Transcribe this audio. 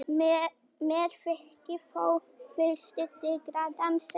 Mér þykir þó fyrri tilgátan sennilegri.